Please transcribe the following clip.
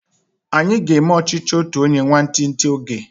Anyi aga eme ọchichi otu onye nwantinti oge?